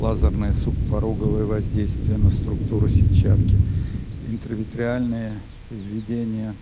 лазерное субпороговое воздействие на структуру сетчатки интравитреальное введение